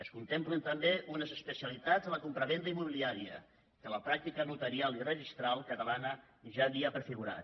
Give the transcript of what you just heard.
es contemplen també unes especialitats de la compravenda immobiliària que la pràctica notarial i registral catalana ja havia prefigurat